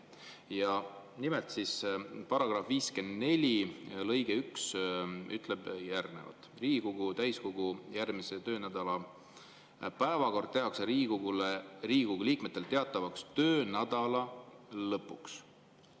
Ja nimelt, § 54 lõige 1 ütleb järgmist: "Riigikogu täiskogu järgmise töönädala päevakord tehakse Riigikogu liikmetele teatavaks töönädala lõpuks.